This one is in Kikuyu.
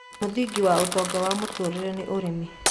Mũthĩngĩ wa ũtonga wa mũtũrĩre nĩ ũrĩmĩ